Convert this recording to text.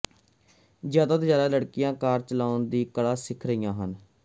ਜ਼ਿਆਦਾ ਤੋਂ ਜਿਆਦਾ ਲੜਕੀਆਂ ਕਾਰ ਚਲਾਉਣ ਦੀ ਕਲਾ ਸਿੱਖ ਰਹੀਆਂ ਹਨ